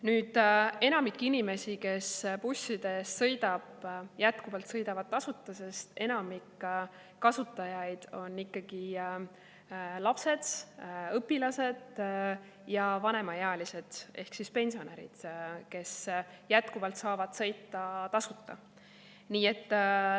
Nüüd, enamik inimesi, kes bussidega sõidavad, jätkuvalt sõidavad tasuta, sest enamik kasutajaid on ikkagi lapsed, õpilased ja vanemaealised ehk pensionärid, kes saavad sõita tasuta.